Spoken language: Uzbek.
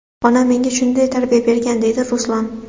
Onam menga shunday tarbiya bergan”, deydi Ruslan.